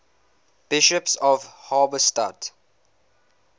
bishops of halberstadt